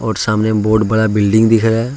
सामने बहोत बड़ा बिल्डिंग दिख रहा है।